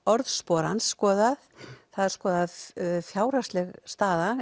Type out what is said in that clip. orðspor skoðað það er skoðað fjárhagsleg staða